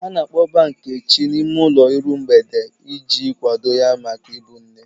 Ha na-akpọba Nkechi n'ime ụlọ iru mgbede iji kwado ya maka ịbụ nne.